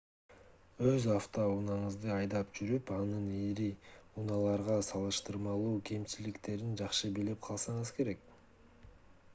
өз авто унааңызды айдап жүрүп анын ири унааларга салыштырмалуу кемчиликтерин жакшы билип калсаңыз керек